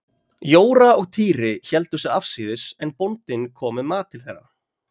Jóra og Týri héldu sig afsíðis en bóndinn kom með mat til þeirra.